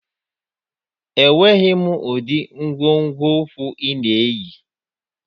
Enweghị m ụdị nkwonkwo ụkwụ ị na-eyi